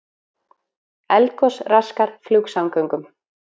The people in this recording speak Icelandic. Eldgos raskar flugsamgöngum